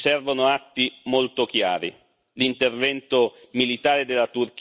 di generiche condanne, ci servono atti molto chiari.